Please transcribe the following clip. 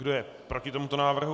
Kdo je proti tomuto návrhu?